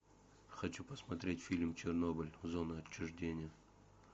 хочу посмотреть фильм чернобыль зона отчуждения